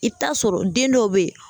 I bɛ taa sɔrɔ den dɔw bɛ yen